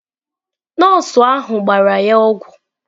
Nọọsụ ahụ gbara ya ọgwụ.